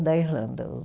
da Irlanda.